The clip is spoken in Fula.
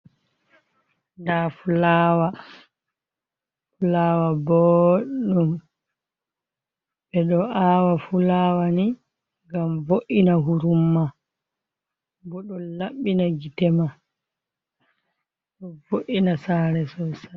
Nda fulawa, fulawa bodum be do awa fu lawa ni ngam vo’ina hurumma bo don labbina gite ma do vo’ina sare sosai.